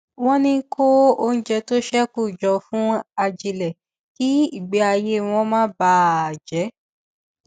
wọn ń kó oúnjẹ tó ṣékù jọ fún ajílẹ kí ìgbé ayé wọn má bà a jẹ